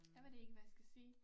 Jeg ved det ikke hvad jeg skal sige